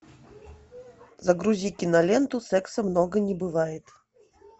загрузи киноленту секса много не бывает